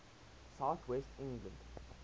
south west england